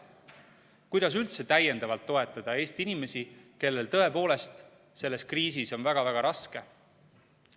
Kuidas üldse täiendavalt toetada Eesti inimesi, kellel tõepoolest selles kriisis on väga-väga raske?